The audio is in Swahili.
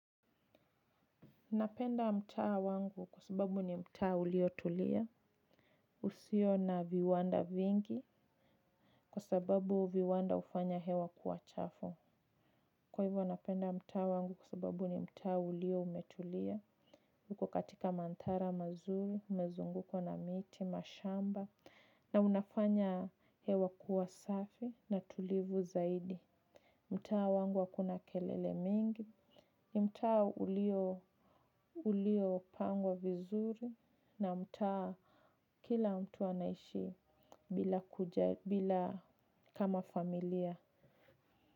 Napenda mtaa wangu kwa sababu ni mtaa uliotulia, usio na viwanda vingi, kwa sababu viwanda ufanya hewa kuwa chafu. Kwa hivyo napenda mtaa wangu kwa sababu ni mtaa ulio umetulia, uko katika mantara mazuri, umezungukwa na miti, mashamba, na unafanya hewa kuwa safi na tulivu zaidi. Mtaa wangu hakuna kelele mingi. Mtaa ulio, ulio pangwa vizuri na mtaa kila mtu anaishi bila kama familia.